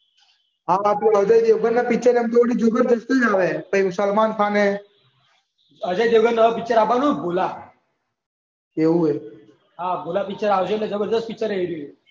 આ પેલા અજય દેવગન ના પિક્ચર અમુક વાર જ હોય પછી સલમાન ખાન હે. અજય દેવગનનું હવે પિક્ચર આવવાનું છે ને ભૂલા. એવું હે. ભુલા પિક્ચર આવશે એટલે જબરજસ્ત પિક્ચર હે એ રહ્યું.